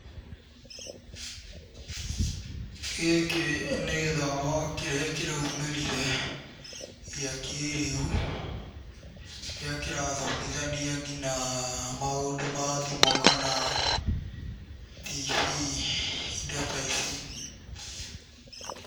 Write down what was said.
Gĩkĩ nĩ gĩthomo kĩrĩa kĩraumĩrire, gĩa kĩĩrĩu kĩrĩa kĩrathomithanio maũndũ ma thimũ kana tv indo ta ici.